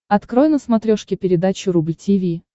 открой на смотрешке передачу рубль ти ви